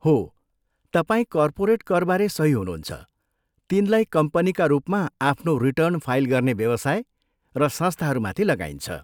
हो, तपाईँ कर्पोरेट करबारे सही हुनुहुन्छ, तिनलाई कम्पनीका रूपमा आफ्नो रिटर्न फाइल गर्ने व्यवसाय र संस्थाहरूमाथि लगाइन्छ।